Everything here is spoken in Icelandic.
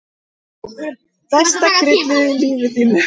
Besta kryddið í lífi þínu.